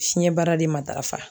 Fiɲɛbara de matarafa